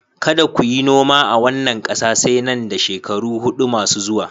Kada ku yi noma a wannan ƙasa sai nan da shekaru huɗu masu zuwa